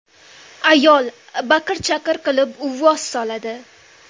Ayol baqir-chaqir qilib, uvvos soladi.